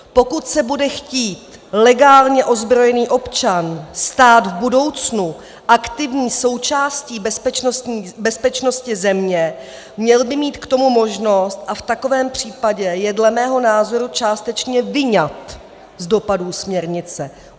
Pokud se bude chtít legálně ozbrojený občan stát v budoucnu aktivní součástí bezpečnosti země, měl by mít k tomu možnost a v takovém případě je dle mého názoru částečně vyňat z dopadů směrnice.